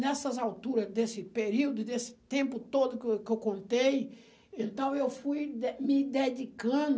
Nessas alturas desse período, desse tempo todo que eu que eu contei, então, eu fui de me dedicando...